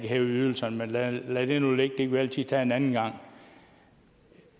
hæve ydelserne men lad det nu ligge det kan vi altid tage en anden gang